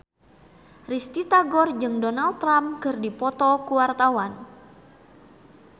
Risty Tagor jeung Donald Trump keur dipoto ku wartawan